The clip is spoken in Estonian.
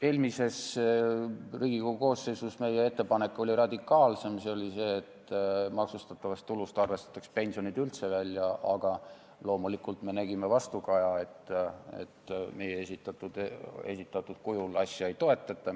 Eelmises Riigikogu koosseisus oli meie ettepanek radikaalsem, see oli see, et maksustatavast tulust arvestataks pensionid üldse välja, aga loomulikult me nägime vastukaja, et meie esitatud kujul asja ei toetata.